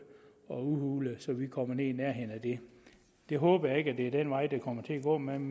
og udhulet så vi kommer ned i nærheden af det jeg håber ikke at det er den vej det kommer til at gå man